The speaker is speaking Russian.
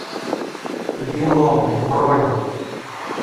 бином бронь